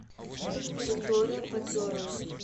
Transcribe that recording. виктория подзорова